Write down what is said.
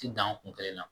Ti dan kun kelen na